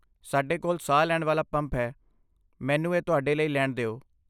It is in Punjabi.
ਸਾਡੇ ਕੋਲ ਸਾਹ ਲੈਣ ਵਾਲਾ ਪੰਪ ਹੈ, ਮੈਨੂੰ ਇਹ ਤੁਹਾਡੇ ਲਈ ਲੈਣ ਦਿਓ।